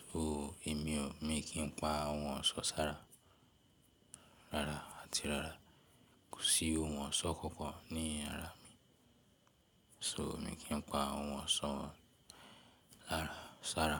So èmi o, mi kìí pa ohun ọ̀ṣọ́ sára, rárá àti rárá. Kò sí ohun ọ̀ṣọ́ kankan ní àrá mi. So mi kì n pa ohun ọ̀ṣọ́ sára.